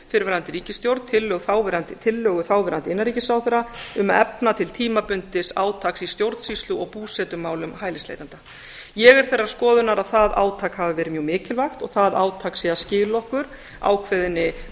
fyrrverandi ríkisstjórn tillögu þáverandi innanríkisráðherra um að efna til tímabundins átaks í stjórnsýslu og búsetumálum hælisleitenda ég er þeirrar skoðunar að það átak hafi verið mjög mikilvægt og það átak sé að skila okkur ákveðinni